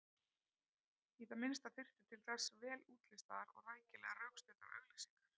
Í það minnsta þyrfti til þess vel útlistaðar og rækilega rökstuddar auglýsingar.